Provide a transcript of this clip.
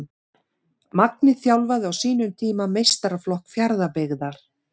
Magni þjálfaði á sínum tíma meistaraflokk Fjarðabyggðar.